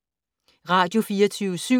Radio24syv